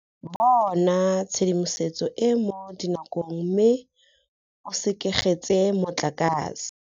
Bona tshedimosetso e e mo dinakong mme o sekegetse motlakase.